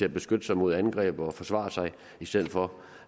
at beskytte sig mod angreb og forsvare sig i stedet for